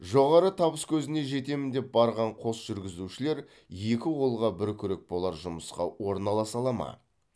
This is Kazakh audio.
жоғары табыскөзіне жетемін деп барған қос жүргізушілер екі қолға бір күрек болар жұмысқа орналаса алады ма